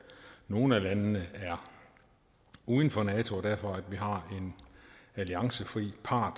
nogle af landene er uden for nato og derfor har en alliancefri part